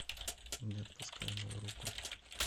не отпускай мою руку